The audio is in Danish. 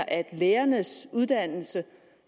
at lærernes uddannelse